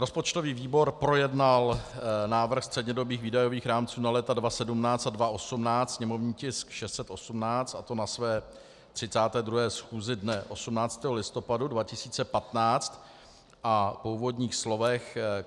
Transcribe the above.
Rozpočtový výbor projednal návrh střednědobých výdajových rámců na léta 2017 a 2018, sněmovní tisk 618, a to na své 32. schůzi dne 18. listopadu 2015, a po úvodních slovech